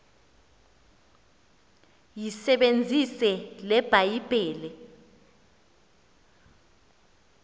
yisebenzise le bhayibhile